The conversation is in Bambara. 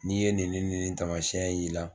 N'i ye nin nin tamasiyɛn y' i la.